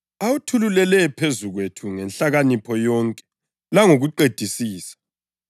awuthululele phezu kwethu ngenhlakanipho yonke langokuqedisisa.